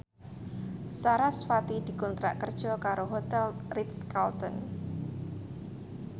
sarasvati dikontrak kerja karo Hotel Ritz Carlton